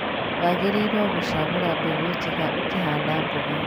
Wagĩrĩirwo gũcagũra mbegũ njega ũkĩhanda mboga.